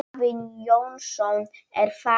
Afi Jónsson er farinn.